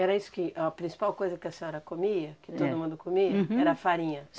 Era isso que... a principal coisa que a senhora comia, que todo mundo comia, era farinha?